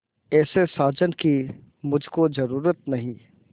ऐसे साजन की मुझको जरूरत नहीं